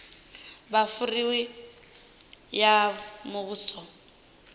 kha fureimiweke ya muvhuso ya